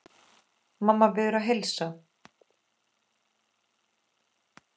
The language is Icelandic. Mamma biður að heilsa.